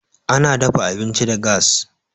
Ana daffa abinci da gas.